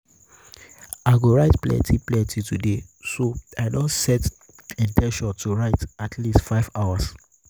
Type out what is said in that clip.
i go write plenty plenty today so i don set in ten tion to write at least five hours.